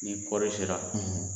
Ni kɔɔri sera,